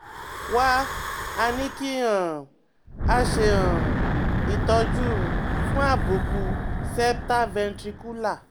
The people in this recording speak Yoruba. Wá a ní kí um a ṣe um ìtọ́jú um fún àbùkù septal ventricular